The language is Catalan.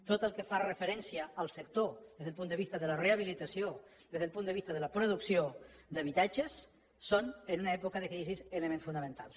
tot el que fa referència al sector des del punt de vista de la rehabilitació des del punt de vista de la producció d’habitatges són en època de crisi elements fonamentals